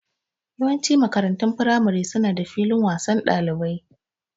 Yawancin makarantun firamare su na da filin wasan ɗalibai